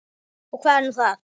Og hvað er nú það?